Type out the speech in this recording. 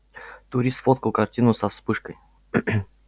турист сфоткал картину со вспышкой